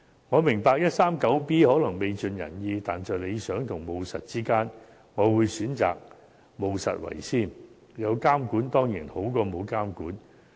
我明白第 139B 章可能未盡人意，但在理想與務實之間，我會選擇務實為先，因為有監管始終比沒有監管好。